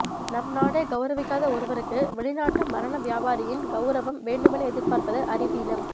நம் நாடே கௌரவிக்காத ஒருவருக்கு வெளிநாட்டு மரண வியாபாரியின் கௌரவம் வேண்டுமென எதிர்பார்ப்பது அறிவீனம்